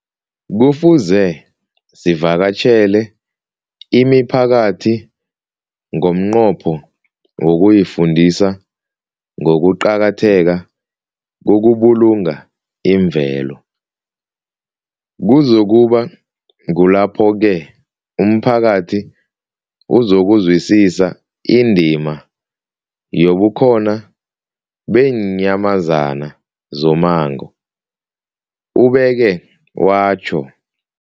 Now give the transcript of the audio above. Kufuze sivakatjhele imiphakathi ngomnqopho wokuyifundisa ngokuqakatheka kokubulunga imvelo. Kuzoku ba kulapho-ke umphakathi uzokuzwisisa indima yobukhona beenyamazana zommango, ubeke watjho.